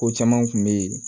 Ko caman kun bɛ yen